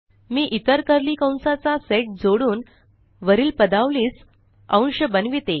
मी इतर कर्ली कंसाचा सेट जोडुन वरील पदावलीस अंश बनविते